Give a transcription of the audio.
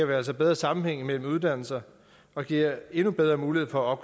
vi altså bedre sammenhæng mellem uddannelser og giver endnu bedre mulighed for at